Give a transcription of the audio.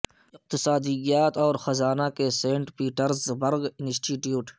اقتصادیات اور خزانہ کے سینٹ پیٹرز برگ انسٹی ٹیوٹ